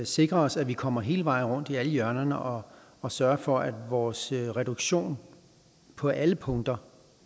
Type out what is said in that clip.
sikre os at vi kommer hele vejen rundt i alle hjørnerne og og sørger for at vores reduktion på alle punkter